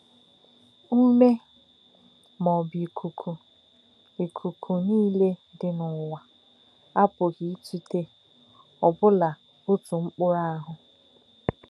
Úmè̄, mà ọ̀ bụ̄ íkù̄kù̄, íkù̄kù̄, níle dí̄ n’ǔwà̄ apù̄ghí̄ ítụ̄té̄ òbù̄lá̄ ó̄tù̄ mkpù̄rụ̄ áhū̄.